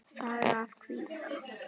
Saga af kvíða.